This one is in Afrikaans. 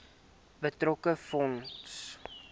betrokke fonds